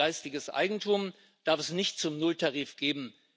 Geistiges Eigentum darf es nicht zum Nulltarif geben.